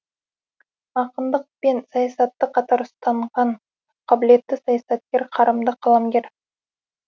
ақындық пен саясатты қатар ұстанған қабілетті саясаткер қарымды қаламгер